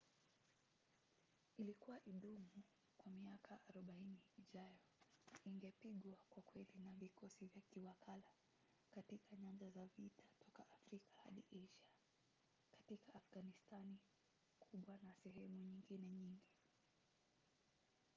ilikuwa idumu kwa miaka 40 ijayo na ingepigwa kwa kweli na vikosi vya kiwakala katika nyanja za vita toka afrika hadi asia katika afghanistani kuba na sehemu nyingine nyingi